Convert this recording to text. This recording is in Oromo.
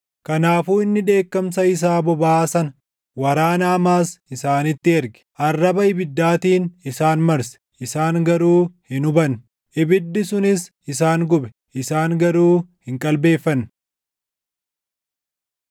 Kanaafuu inni dheekkamsa isaa bobaʼaa sana, waraana hamaas isaanitti erge. Arraba ibiddaatiin isaan marse; isaan garuu hin hubanne; ibiddi sunis isaan gube; isaan garuu hin qalbeeffanne.